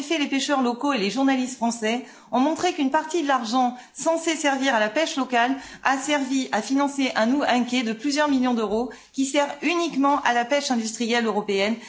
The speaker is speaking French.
En effet, les pêcheurs locaux et les journalistes français ont montré qu'une partie de l'argent censé servir à la pêche locale a servi à financer un quai de plusieurs millions d'euros qui sert uniquement à la pêche industrielle européenne.